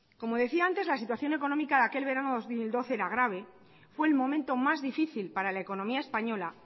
como decía antes la situación económica de aquel verano dos mil doce era grave fue el momento más difícil para la economía española